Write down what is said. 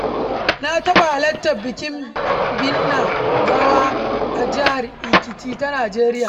Na taɓa halartar bikin binne gawa a jihar Ekiti ta Nijeriya.